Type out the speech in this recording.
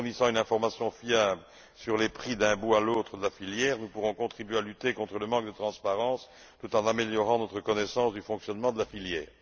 En fournissant une information fiable sur les prix d'un bout à l'autre de la filière, nous pourrons contribuer à lutter contre le manque de transparence tout en améliorant notre connaissance du fonctionnement de la filière.